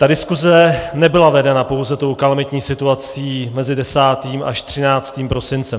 Ta diskuse nebyla vedena pouze tou kalamitní situací mezi 10. až 13. prosincem.